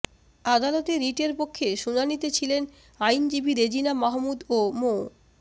আদালতে রিটের পক্ষে শুনানিতে ছিলেন আইনজীবী রেজিনা মাহমুদ ও মো